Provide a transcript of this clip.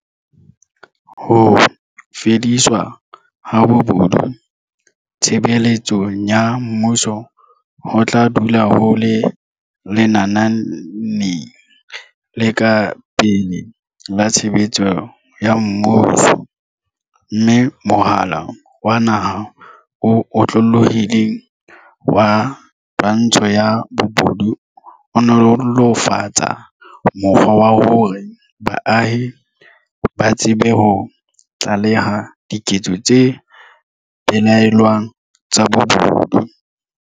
Ho fediswa ha bobo du tshebeletsong ya mmuso ho tla dula ho le lenaneng le ka pele la tshebetso ya mmuso, mme Mohala wa Naha o Otlolohileng wa Twantsho ya Bobodu o nolo -fatsa mokgwa wa hore baahi ba tsebe ho tlaleha diketso tse belaellwang tsa bobodu.